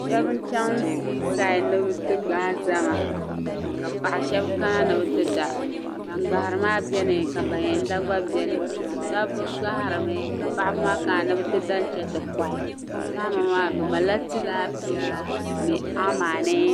Shɛba n-chaŋ sii saidi ni bɛ ti gbahi zahima ka paɣ' shɛba kana ni bɛ ti da. Ban gbahiri maa beni ka ban yɛn da gba beni. Dabba gbahirimi ka paɣiba maa kana ni bɛ ti da n-chaŋ ti kɔhi. Zahima maa bɛ malila tilaapia ni amani.